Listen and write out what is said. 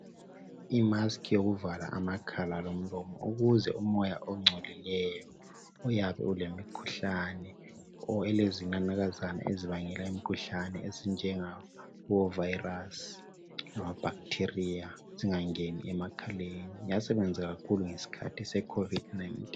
Imaski yokuvala amakhala lomlomo ukuze umoya ongcolileyo oyabe ulemikhuhlane or elezinanakazana ezibangela imikhuhlane ezinjenga mavirus labo bacteria zingangeni emakhaleni. Yasebenza kakhulu ngesikhathi secovid 19.